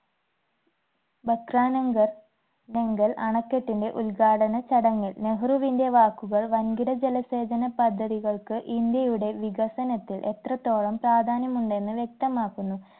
ഭക്രാനംഗ നംഗൽ അണക്കെട്ടിന്റെ ഉദ്‌ഘാടന ചടങ്ങിൽ നെഹ്രുവിന്റെ വാക്കുകൾ വൻകിട ജലസേചന പദ്ധതികൾക്ക് ഇന്ത്യയുടെ വികസനത്തിൽ എത്രത്തോളം പ്രാധാന്യമുണ്ടെന്ന് വ്യക്തമാക്കുന്നു